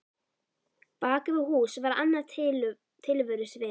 Bak við hús var annað tilverusvið.